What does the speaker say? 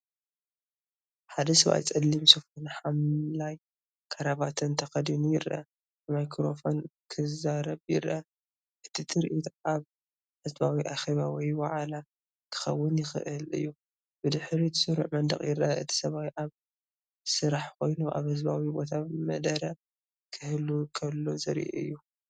ሓደ ሰብኣይ ጸሊም ሱፍን ሐምላይ ክራቫታን ተኸዲኑ ይርአ። ብማይክሮፎን ክዛረብ ይረአ። እቲ ትርኢት ኣብ ህዝባዊ ኣኼባ ወይ ዋዕላ ክኸውን ይኽእል እዩ። ብድሕሪትስሩዕ መንደቕ ይርአ። እቲ ሰብኣይ ኣብ ስራሕ ኮይኑ ኣብ ህዝባዊ ቦታ መደረ ክህብ ከሎ ዘርኢ እዩ።